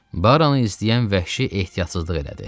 Baranı izləyən vəhşi ehtiyatsızlıq elədi.